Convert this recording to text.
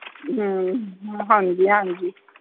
ਹਮ ਹਾਂਜੀ ਹਾਂਜੀ